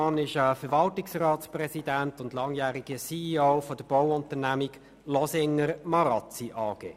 Er ist Verwaltungsratspräsident und langjähriger CEO der Bauunternehmung Losinger Marazzi AG.